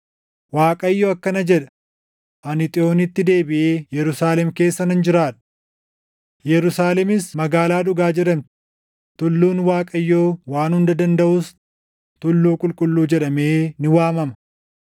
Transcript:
Waaqayyo akkana jedha: “Ani Xiyoonitti deebiʼee Yerusaalem keessa nan jiraadha. Yerusaalemis Magaalaa Dhugaa jedhamti; tulluun Waaqayyo Waan Hunda Dandaʼuus Tulluu Qulqulluu jedhamee ni waamama.”